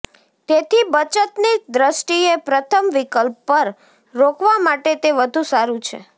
તેથી બચતની દ્રષ્ટિએ પ્રથમ વિકલ્પ પર રોકવા માટે તે વધુ સારું છે